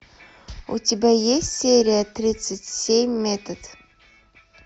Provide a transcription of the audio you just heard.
у тебя есть серия тридцать семь метод